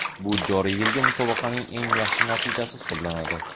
Bu joriy yilgi musobaqaning eng yaxshi natijasi hisoblanadi.